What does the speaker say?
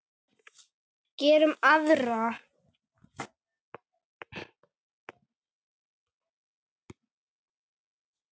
Gerum aðra.